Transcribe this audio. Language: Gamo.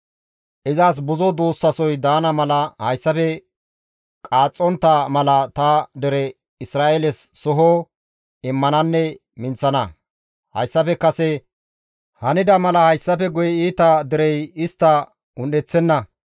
Izas buzo duussasoy daana mala hayssafe qaaxxontta mala ta dere Isra7eeles soho immananne minththana. Hayssafe kase hanida mala hayssafe guye iita derey istta un7eththenna.